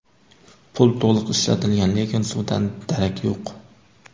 Pul to‘liq ishlatilgan, lekin suvdan darak yo‘q.